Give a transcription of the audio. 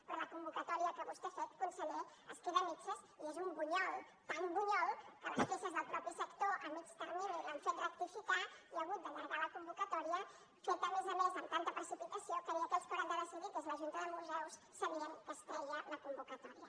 però la convocatòria que vostè ha fet conseller es queda a mitges i és un bunyol tan bunyol que les queixes del mateix sector a mitjà termini l’han fet rectificar i ha hagut d’allargar la convocatòria feta a més a més amb tanta precipitació que ni aquells que hauran de decidir que és la junta de museus sabien que es treia la convocatòria